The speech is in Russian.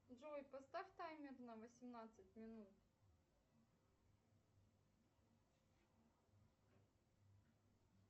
джой поставь таймер на восемнадцать минут